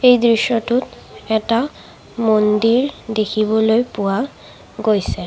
এই দৃশ্যটোত এটা মন্দিৰ দেখিবলৈ পোৱা গৈছে।